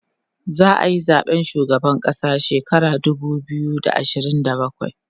za'ayi zaɓen shugaban ƙasa shekara dubu biyu da ashirin da bakwai